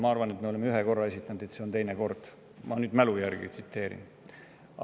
Ma arvan, et me oleme ühe korra esitanud, see on teine kord, aga viis korda kindlasti ei ole.